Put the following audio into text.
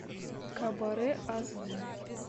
кабаре ас ди